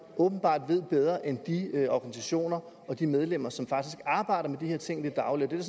åbenbart ved bedre end de organisationer og de medlemmer som faktisk arbejder med de her ting i det daglige det